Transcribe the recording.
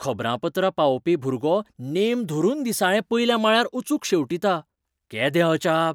खबरापत्रां पावोवपी भुरगो नेम धरून दिसाळें पयल्या माळ्यार अचूक शेंवटीता . केदें अजाप !